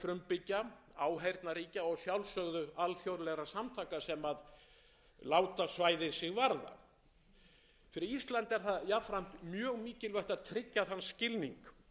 frumbyggja áheyrnarríkja og að sjálfsögðu alþjóðlegra samtaka sem láta svæðið sig varða fyrir ísland er það jafnframt mjög mikilvægt að tryggja þann skilning